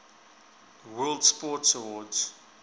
world sports awards